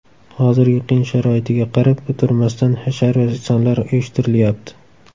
Hozirgi qiyin sharoitiga qarab o‘tirmasdan hashar va ehsonlar uyushtirilyapti.